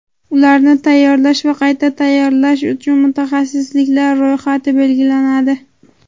ularni tayyorlash va qayta tayyorlash uchun mutaxassisliklar ro‘yxati belgilanadi.